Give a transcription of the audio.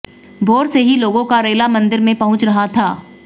भोर से ही लोगों का रेला मंदिर में पहुंच रहा था